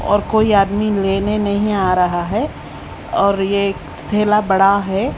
और कोई आदमी लेने नहीं आ रहा है और ये एक थेला बड़ा है।